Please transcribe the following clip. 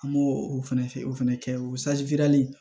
An b'o o fɛnɛ fɛ o fɛnɛ kɛ o